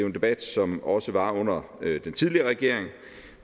en debat som også var under den tidligere regering